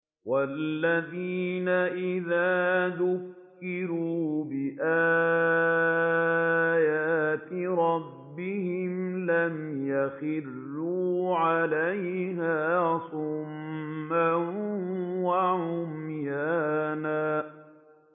وَالَّذِينَ إِذَا ذُكِّرُوا بِآيَاتِ رَبِّهِمْ لَمْ يَخِرُّوا عَلَيْهَا صُمًّا وَعُمْيَانًا